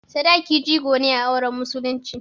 Sadaki jigo ne a auren musulunci.